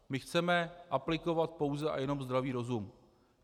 My chceme aplikovat pouze a jenom zdravý rozum.